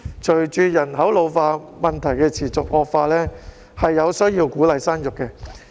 隨着人口老化的問題持續惡化，我們有需要鼓勵生育。